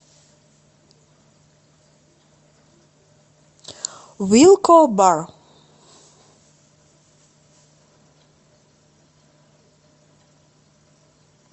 вилко бар